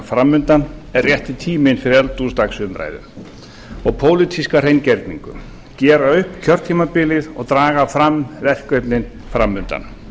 fram undan er rétti tíminn fyrir eldhúsdagsumræðu og pólitíska hreingerningu gera upp kjörtímabilið og draga fram verkefnin fram undan